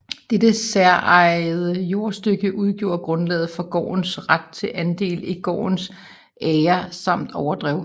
Dette særejede jordstykke udgjorde grundlaget for gårdens ret til andel i gårdens agre samt overdrev